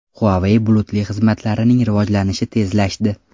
Huawei bulutli xizmatlarining rivojlanishi tezlashdi.